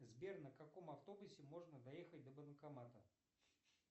сбер на каком автобусе можно доехать до банкомата